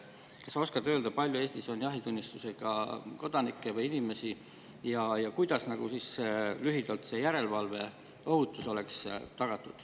Kas sa oskad öelda, kui palju on Eestis jahitunnistusega inimesi, ja lühidalt, kuidas oleks siis tagatud järelevalve ja ohutus?